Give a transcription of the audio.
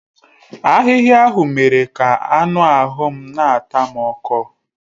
Ahịhịa ahụ mere ka anụ ahụ m na-ata m ọkọ.